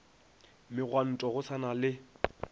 megwanto go sa na le